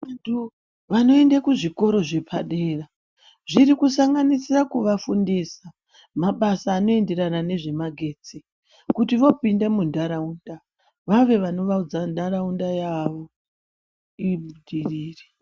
Vantu vanoende kuzvikora zvepadera zvirikusanganisira kuvafundisa mabasa anoenderana nezvemagetsi kuti, vopinde mundaraunda yavo vange vanovandudza ndaraunda yavo ibudirire.